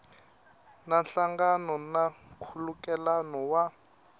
na nhlangano na nkhulukelano wa